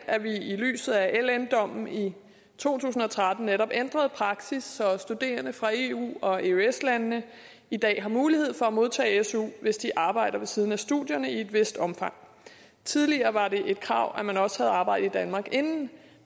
at vi i lyset af ln dommen i to tusind og tretten netop ændrede praksis så studerende fra eu og eøs landene i dag har mulighed for at modtage su hvis de arbejder ved siden af studierne i et vist omfang tidligere var det et krav at man også havde arbejdet i danmark inden